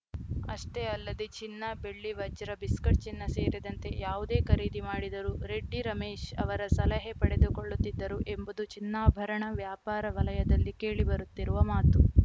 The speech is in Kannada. ಅಷ್ಟೇ ಅಲ್ಲದೆ ಚಿನ್ನ ಬೆಳ್ಳಿ ವಜ್ರ ಬಿಸ್ಕಿಟ್‌ ಚಿನ್ನ ಸೇರಿದಂತೆ ಯಾವುದೇ ಖರೀದಿ ಮಾಡಿದರೂ ರೆಡ್ಡಿ ರಮೇಶ್‌ ಅವರ ಸಲಹೆ ಪಡೆದುಕೊಳ್ಳುತ್ತಿದ್ದರು ಎಂಬುದು ಚಿನ್ನಾಭರಣ ವ್ಯಾಪಾರ ವಲಯದಲ್ಲಿ ಕೇಳಿ ಬರುತ್ತಿರುವ ಮಾತು